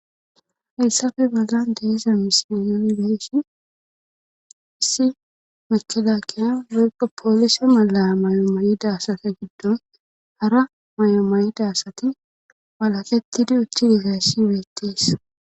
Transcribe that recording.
Hayssafe bagan diza misiyon beeshi issi machelakiya geygo poolise mala mayo mayida asata giddon hara mayo mayida asati walakettidi uttidi gayssibeettes.